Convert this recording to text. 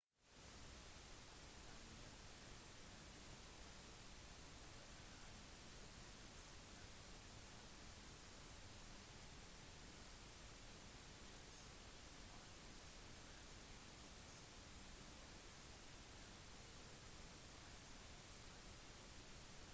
han måtte ha blitt dømt på en annen måte dersom han hadde mistet bilnøklene og det faktisk var sitt eget kjøretøy han forsøkte å bryte seg inn i